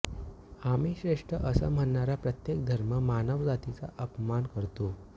आम्हीच श्रेष्ठ असं म्हणणारा प्रत्येक धर्म मानव जातीचा अपमान करतो